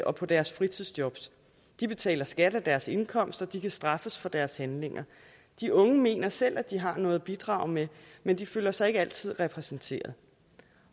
og på deres fritidsjob de betaler skat af deres indkomst og de kan straffes for deres handlinger de unge mener selv at de har noget at bidrage med men de føler sig ikke altid repræsenteret